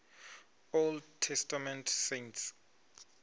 old testament saints